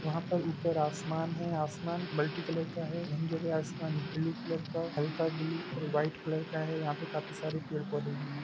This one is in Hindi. यहा पर ऊपर आसमान है आसमान मल्टी कलर का है कई जगह आसमान ब्लू कलर का हल्का ब्लू और वाइट कलर का है यहां काफी सारे पेड़-पौधे भी है।